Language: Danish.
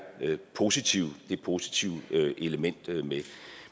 positive positive element